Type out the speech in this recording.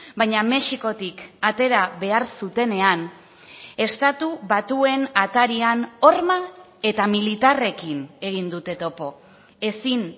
baina mexikotik atera behar zutenean estatu batuen atarian horma eta militarrekin egin dute topo ezin